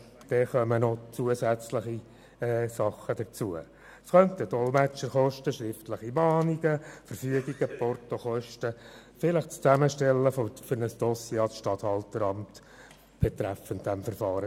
Allenfalls kommen zusätzliche Aufwendungen hinzu für Dolmetscherkosten, schriftliche Mahnungen, Verfügungen, Portokosten, eventuell das Zusammenstellen eines Dossiers zuhanden des Regierungsstatthalteramts betreffend das Verfahren.